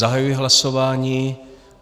Zahajuji hlasování.